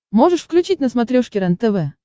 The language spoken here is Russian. можешь включить на смотрешке рентв